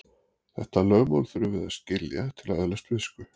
Þetta lögmál þurfum við að skilja til að öðlast visku.